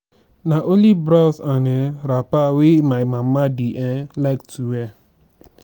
na only blouse and um wrapper wey my mama dey um like to wear